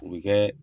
U bɛ kɛ